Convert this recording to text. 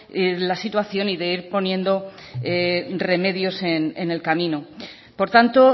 la situación y de ir poniendo remedios en el camino por tanto